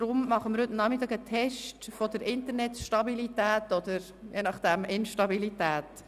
Darum machen wir heute Nachmittag einen Test der Internetstabilität oder – je nach dem – der Instabilität.